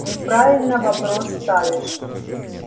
неправильно вопрос ставишь